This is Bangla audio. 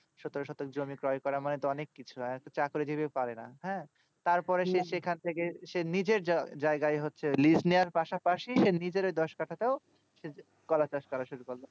শতক শতক জমি ক্রয় করা মানে অনেক কিছু একজন চাকরি জিবি পারে না হ্যাঁ তার পরে সে নিশ্চই এখান থেকে নিজের জায়গায় হচ্ছে liz নিয়ে আর পাস পাশি সে নিজের দশ কাঠাতেও সে কলা চাষ করা শুরু করলো